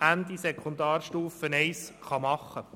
Ende Sekundarstufe I machen könnte.